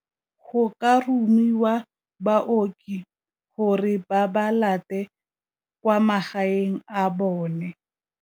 Go ka romiwa baoki gore ba ba late kwa magaeng a bone.